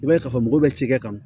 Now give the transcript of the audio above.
I b'a ye ka fɔ mɔgɔw bɛ ci kɛ kan